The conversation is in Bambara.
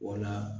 Wala